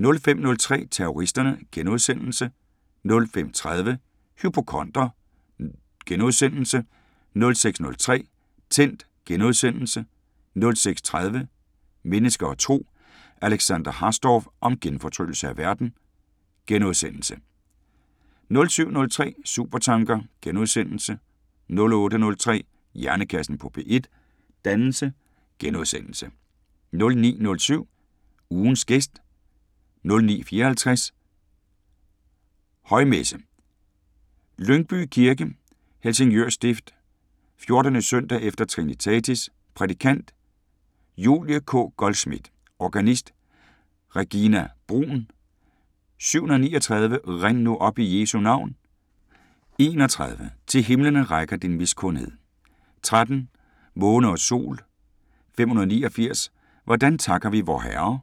05:03: Terroristerne * 05:30: Hypokonder * 06:03: Tændt * 06:30: Mennesker og Tro: Alexandra Hasdorf om genfortryllelse af verden * 07:03: Supertanker * 08:03: Hjernekassen på P1: Dannelse * 09:07: Ugens gæst 09:54: Højmesse - Lyngby Kirke, Helsingør Stift. 14. søndag efter Trinitatis. Prædikant: Julie K. Goldschmidt. Organist: Regina Bruun. 739: "Rind nu op i Jesu navn" 31: "Til himlene rækker din miskundhed" 13: "Måne og sol" 589: "Hvordan takker vi Vorherre"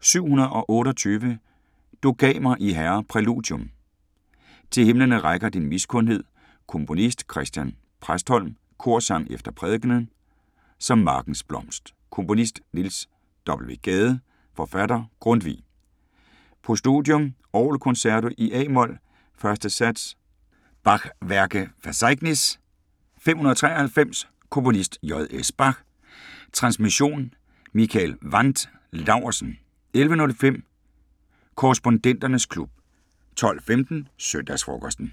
728: "Du gav mig I Herre" Præludium: Til Himlene rækker din miskundhed Komponist: Chr. Præstholm. Korsang efter prædikenen: "Som markens blomst" Komponist: Niels W. Gade. Forfatter: Grundtvig. Postludium: Orgel concerto i a-mol, 1. sats BWV 593 Komponist: J.S Bach. Transmission: Mikael Wandt Laursen. 11:05: Korrespondenternes klub 12:15: Søndagsfrokosten